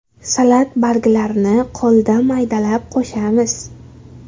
Salat barglarini qo‘lda maydalab qo‘shamiz.